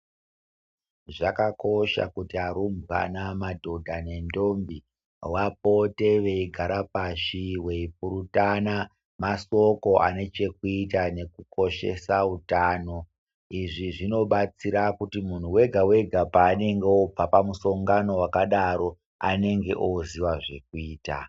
Zvakakosha kuti arumbwana, madhodha nendombi vapote veigara pashi veipurutana mashoko anechekuita nekukoshesa utano. Izvi zvinobatsira kuti muntu wega-wega paanenge obva pamusongano wakadaro anenge oziya zvekuita.